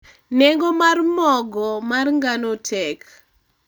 nengo mar mogo mar ngano tek